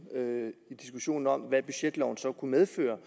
i diskussionen om hvad budgetloven så kunne medføre